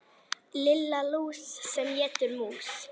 Lilla lús sem étur mús.